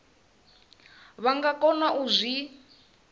vha nga kona u zwi